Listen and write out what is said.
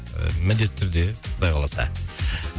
ііі міндетті түрде құдай қаласа